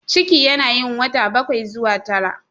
Ciki yana yin wata bakwai zuwa tara.